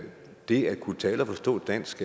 det at kunne tale og forstå dansk